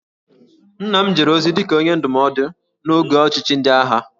Nna m jere ozi dị ka Onye Ndụmọdụ n'oge ọchịchị ndị agha